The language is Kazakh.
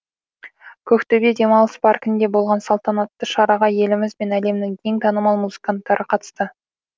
көктөбе демалыс паркінде болған салтанатты шараға еліміз бен әлемнің ең танымал музыканттары қатысты